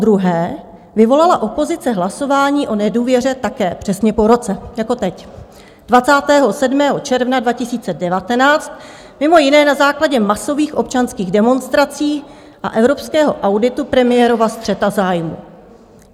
Podruhé vyvolala opozice hlasování o nedůvěře také přesně po roce jako teď, 27. června 2019, mimo jiné na základě masových občanských demonstrací a evropského auditu premiérova střetu zájmů.